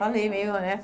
Falei meio, né?